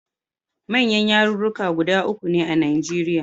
Manyan yarurruka uku ne a Nigerian.